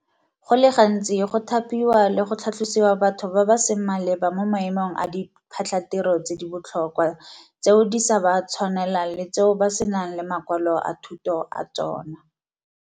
Go le gantsi go thapiwa le go tlhatlhosiwa batho ba ba seng maleba mo maemong a diphatlhatiro tse di botlhokwa tseo di sa ba tshwanelang le tseo ba senang le makwalo a thuto a tsona.